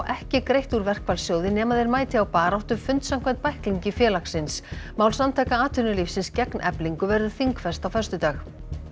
ekki greitt úr nema þeir mæti á baráttufund samkvæmt bæklingi félagsins mál Samtaka atvinnulífsins gegn Eflingu verður þingfest á föstudag